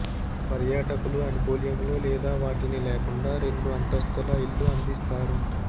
పర్యాటకులు అనుకూల్యములు లేదా వాటిని లేకుండా రెండు అంతస్థుల ఇళ్ళు అందిస్తారు